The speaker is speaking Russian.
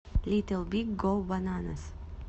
литл биг гоу бананас